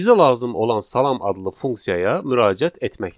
Bizə lazım olan salam adlı funksiyaya müraciət etməkdir.